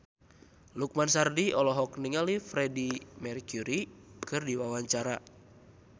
Lukman Sardi olohok ningali Freedie Mercury keur diwawancara